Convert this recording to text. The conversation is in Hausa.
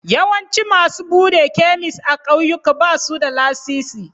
Yawancin masu buɗe kemis a ƙauyuka ba su da lasisi.